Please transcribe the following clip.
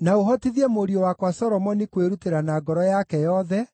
Na ũhotithie mũriũ wakwa Solomoni kwĩrutĩra na ngoro yake yothe,